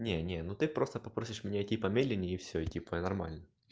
не не ну ты просто попросишь мне типа медленнее и все и типа нормально